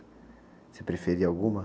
Você preferia alguma?